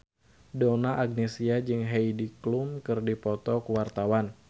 Donna Agnesia jeung Heidi Klum keur dipoto ku wartawan